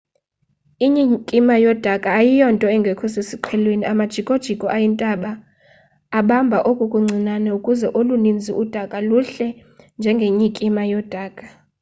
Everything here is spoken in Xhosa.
inyikima yodaka ayiyonto engekho sesiqhelweni amajikojiko ayintaba abamba oko kuncinane ukuze olunintsi udaka luhle njengenyikima yodaka